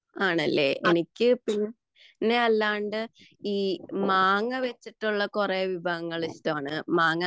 ആണല്ലേ എനിക്ക് മാങ്ങാ വച്ചിട്ടുള്ള കുറെ വിഭവങ്ങൾ ഇഷ്ടമാണ് മാങ്ങ